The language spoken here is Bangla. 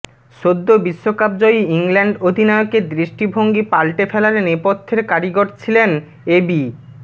সদ্য বিশ্বকাপজয়ী ইংল্যান্ড অধিনায়কের দৃষ্টিভঙ্গি পাল্টে ফেলার নেপথ্যের কারিগর ছিলেন এ বি